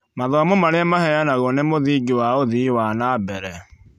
Mathomo marĩa maheanagwo nĩ mũthingi wa uthii wa na mbere.